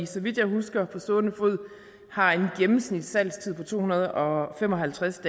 så vidt jeg husker på stående fod har en gennemsnitssalgstid på to hundrede og fem og halvtreds